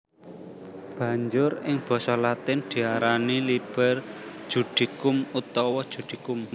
Banjur ing basa Latin diarani liber Judicum utawa Judicum